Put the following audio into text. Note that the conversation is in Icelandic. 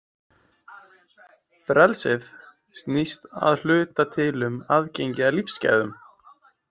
Frelsið snýst að hluta til um aðgengi að lífsgæðum.